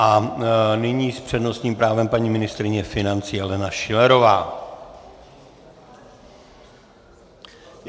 A nyní s přednostním právem paní ministryně financí Alena Schillerová.